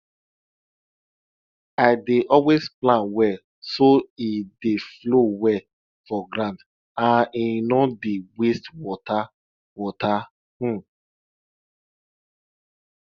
i dey always plan well so e dey flow well for ground and e no dey waste water water um